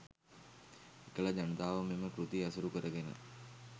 එකල ජනතාව මෙම කෘති ඇසුරුකරගෙන